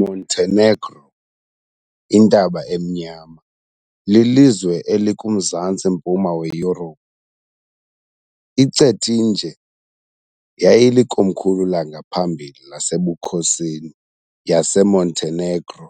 Montenegro, Intaba Emnyama, lilizwe elikuMzantsi mpuma weYurophu. I-Cetinje yayilikomkhulu langaphambili lasebukhosini, yaseMontenegro